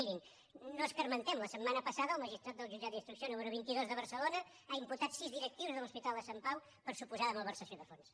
mirin no escarmentem la setmana passada el magistrat del jutjat d’instrucció número vint dos de barcelona va imputar sis directius de l’hospital de sant pau per suposada malversació de fons